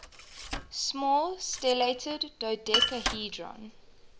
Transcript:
small stellated dodecahedron